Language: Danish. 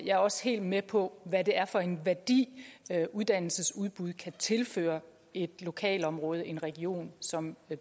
jeg er også helt med på hvad det er for en værdi uddannelsesudbuddet kan tilføre et lokalområde en region som